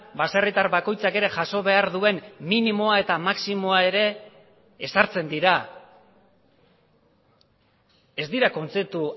baserritar bakoitzak ere jaso behar duen minimoa eta maximoa ere ezartzen dira ez dira kontzeptu